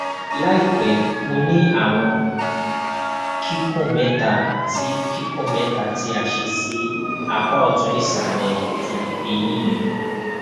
laipẹ mo ni awọn kikun mẹta ti kikun mẹta ti a ṣe si apa ọtun isalẹ ti eyin mi